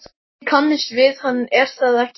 Þið kannist við hann, er það ekki?